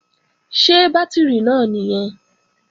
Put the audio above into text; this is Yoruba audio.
Ṣé bátìrì náà nìyẹn?